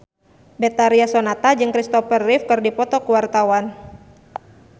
Betharia Sonata jeung Christopher Reeve keur dipoto ku wartawan